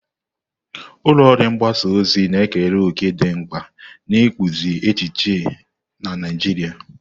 Ulọ ọrụ mgbasa ozi na-ekere òkè dị mkpa n'ịkpụzi echiche na Naijiria.